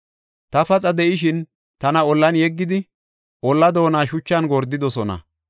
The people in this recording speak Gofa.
Ta paxa de7ishin tana ollan yeggidi, ollaa doona shuchan gordidosona.